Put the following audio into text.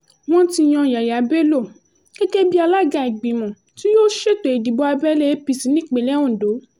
wọ́n ti yan yaya bello gẹ́gẹ́ bíi alága ìgbìmọ̀ tí yóò ṣètò ìdìbò abẹ́lé apc nípínlẹ̀ ondo